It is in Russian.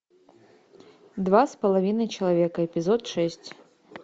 два с половиной человека эпизод шесть